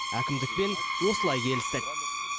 әкімдікпен осылай келістік